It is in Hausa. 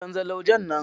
Canza laujen nan.